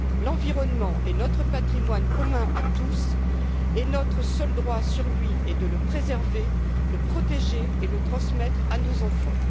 L'environnement est notre patrimoine commun à tous, et notre seul droit sur lui est de le préserver, de le protéger et de le transmettre à nos enfants.